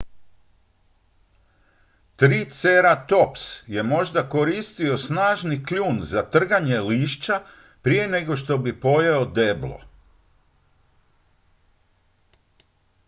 triceratops je možda koristio snažni kljun za trganje lišća prije nego što bi pojeo deblo